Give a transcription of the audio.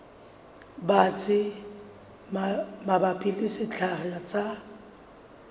batsi mabapi le sekgahla sa